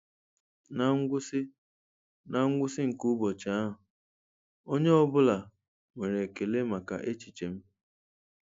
Ná ngwụsị Ná ngwụsị nke ụbọchị ahụ, onye ọ bụla nwere ekele maka echiche m.'